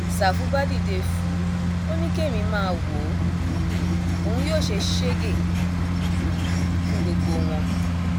ṣàfù bá dìde fùú ò ní kí èmi máa wò ó um òun yóò ṣe sẹẹgẹ um fún gbogbo wọn